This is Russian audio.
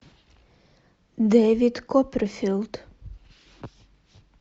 дэвид копперфильд